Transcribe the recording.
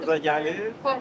Quruluşda gəlib.